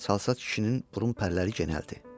Çalsat kişinin burun pərləri genəldi.